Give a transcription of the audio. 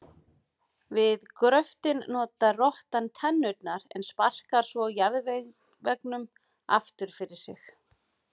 Við gröftinn notar rottan tennurnar en sparkar svo jarðveginum aftur fyrir sig.